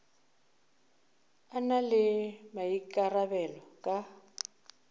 a na le maikarabelo ka